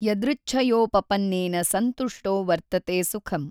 ಯದೃಚ್ಛಯೋಪಪನ್ನೇನ ಸಂತುಷ್ಟೋ ವರ್ತತೇ ಸುಖಂ।